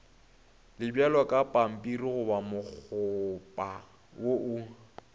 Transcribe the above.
le bjalokapampirigoba mokgopa wo o